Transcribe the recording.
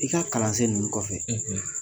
I ka kalansen ninnu kɔfɛ,